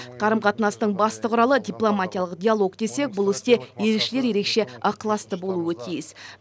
қарым қатынастың басты құралы дипломатиялық диалог десек бұл істе елшілер ерекше ықыласты болуы тиіс